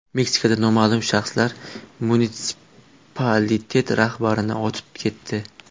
Meksikada noma’lum shaxslar munitsipalitet rahbarini otib ketdi.